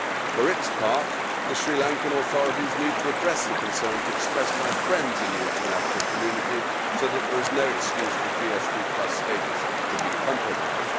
For its part, the Sri Lankan authorities need to address the concerns expressed by friends in the international community so there is no excuse for GSP status to be compromised.